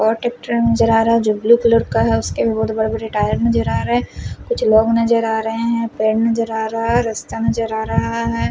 और ट्रैक्टर नज़र आ रहा है जो ब्लू कलर का है उसके भी बहुत बड़े बड़े टायर नज़र आ रहे हैं कुछ लोग नज़र आ रहे हैं पेड़ नज़र आ रहा है और रास्ता नज़र आ रहा है।